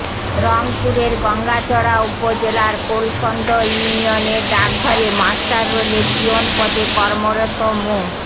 রংপুরের গঙ্গাচড়া উপজেলার কোলকোন্দ ইউনিয়নের ডাকঘরে মাস্টাররোলে পিয়ন পদে কর্মরত মো